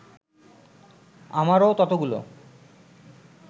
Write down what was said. আমারও ততগুলো